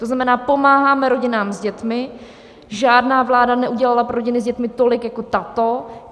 To znamená: pomáháme rodinám s dětmi, žádná vláda neudělala pro rodiny s dětmi tolik jako tato.